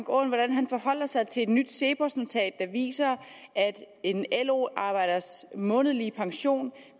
om hvordan han forholder sig til et nyt cepos notat der viser at en lo arbejders månedlige pension